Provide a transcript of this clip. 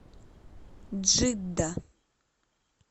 джидда